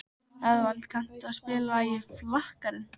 Eðvald, kanntu að spila lagið „Flakkarinn“?